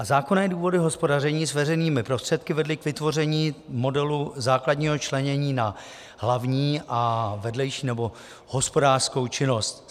A zákonné důvody hospodaření s veřejnými prostředky vedly k vytvoření modelu základního členění na hlavní a vedlejší nebo hospodářskou činnost.